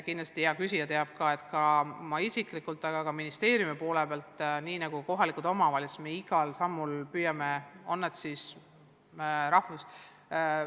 Kindlasti hea küsija teab, et mina isiklikult, samuti kogu ministeerium ja kohalikud omavalitsused, me igal sammul püüame õpetajaid tunnustada.